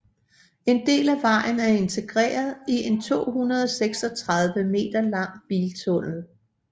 En del af vejen er integreret i en 236 meter lang biltunnel